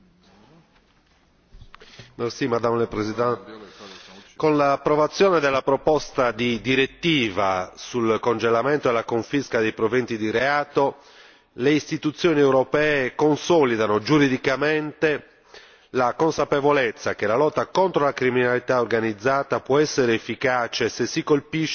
Con l'approvazione della proposta di direttiva sul congelamento e la confisca dei proventi di reato, le istituzioni europee consolidano giuridicamente la consapevolezza che la lotta contro la criminalità organizzata può essere efficace se si colpisce il cuore di ogni forma di criminalità, cioè il profitto.